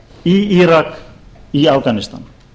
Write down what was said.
í írak í afganistan